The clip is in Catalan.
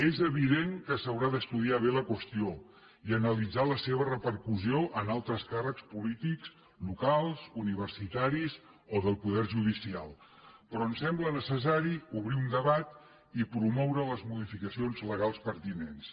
és evident que s’haurà d’estudiar bé la qüestió i analitzar la seva repercussió en altres càrrecs polítics locals universitaris o del poder judicial però em sembla necessari obrir un debat i promoure les modificacions legals pertinents